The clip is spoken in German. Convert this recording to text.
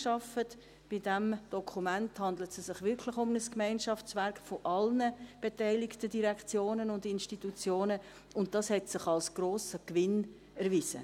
Es handelt sich bei diesem Dokument wirklich um ein Gemeinschaftswerk aller beteiligten Direktionen und Institutionen, und dies hat sich als grosser Gewinn erwiesen.